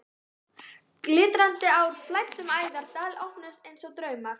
Glitrandi ár flæddu um æðar, dalir opnuðust einsog draumar.